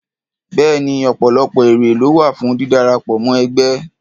Bẹ́ẹ̀ni, ọ̀pọ̀lọpọ̀ èrè ló wà fún dídarapọ̀ mọ́ ẹgbẹ́.